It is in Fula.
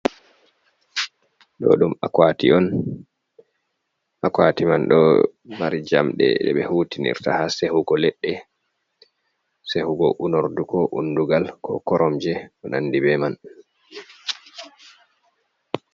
Do ɗum akwati on. Akwati man ɗo mari jamɗe je be hutinirta ha sehugo leɗɗe, sehugo unorɗu, ko unɗugal ko koromje, ko nanɗi be man.